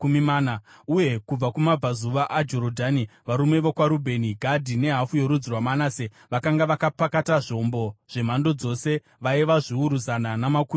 uye kubva kumabvazuva aJorodhani, varume vokwaRubheni, Gadhi nehafu yorudzi rwaManase vakanga vakapakata zvombo zvemhando dzose, vaiva zviuru zana namakumi maviri.